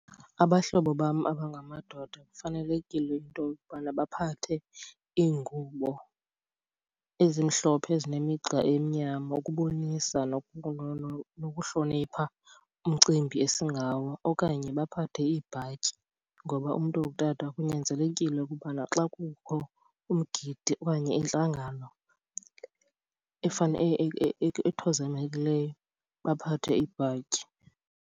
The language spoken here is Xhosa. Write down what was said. Abahlobo bam abangamadoda kufanelekile into yobana baphathe iingubo ezimhlophe ezinemigca emnyama ukubonisa nokuhlonipha umcimbi esingawo. Okanye baphathe iibhatyi ngoba umntu ongutata kunyanzelekile ukubana xa kukho umgidi okanye intlangano ethozamekileyo baphathe ibhatyi.